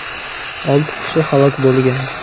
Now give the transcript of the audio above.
Olti kishi halok bo‘lgan.